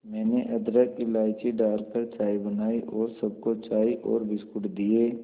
मैंने अदरक इलायची डालकर चाय बनाई और सबको चाय और बिस्कुट दिए